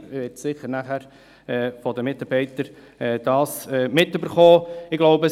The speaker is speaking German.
Die Regierungsrätin wird das sicher nachher von den Mitarbeitenden hören.